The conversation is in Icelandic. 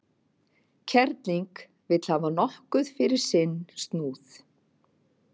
Kerling vill hafa nokkuð fyrir sinn snúð.